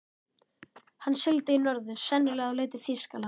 Hann sigldi í norður, sennilega á leið til Þýskalands.